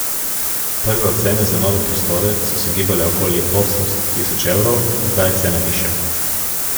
Prve ocene za nove prostore so se gibale okoli osemsto tisoč evrov, zdaj je cena višja.